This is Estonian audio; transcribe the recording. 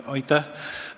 Aitäh!